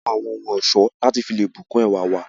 A máa n wọ awọn ohun ọ̀ṣọ lati fi lé bu kún ẹwá wa